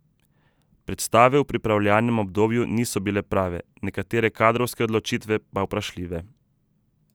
Predstave v pripravljalnem obdobju niso bile prave, nekatere kadrovske odločitve pa vprašljive.